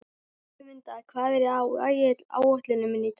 Guðmunda, hvað er á áætluninni minni í dag?